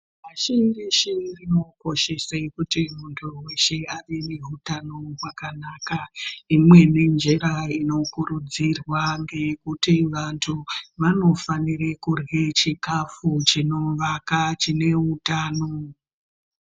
Pashi reshe rinokoshesa kuti muntu veshe ave neutano hwakanaka. Imweni njira inokurudzirwa ngekuti vantu vanofanire kurya chikafu chinovaka chine utano.